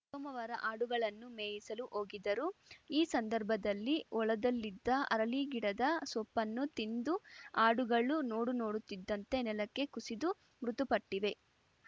ಸೋಮವಾರ ಆಡುಗಳನ್ನು ಮೇಯಿಸಲು ಹೋಗಿದ್ದರು ಈ ಸಂದರ್ಭದಲ್ಲಿ ಹೊಲದಲ್ಲಿದ್ದ ಹರಳಿಗಿಡದ ಸೊಪ್ಪನ್ನು ತಿಂದು ಆಡುಗಳು ನೋಡು ನೋಡುತ್ತಿದ್ದಂತೆ ನೆಲಕ್ಕೆ ಕುಸಿದು ಮೃತುಪಟ್ಟಿವೆ